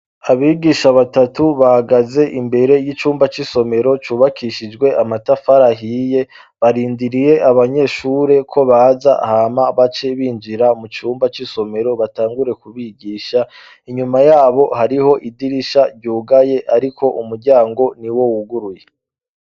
Abigisha batatu bagaze imbere y'icumba c'isomero cubakishijwe amatafarahiye barindiriye abanyeshure ko baza hama bace binjira mu cumba c'isomero batangure kubigisha inyuma yabo hariho idirisha ryugaye, ariko umuryango ni wo wuguruye.